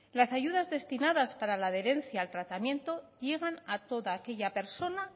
las ayudas destinadas para la adherencia al tratamiento llegan a toda aquella persona